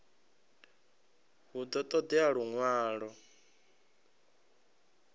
hu ḓo ṱo ḓea luṅwalo